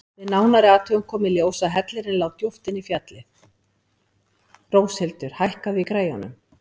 Róshildur, hækkaðu í græjunum.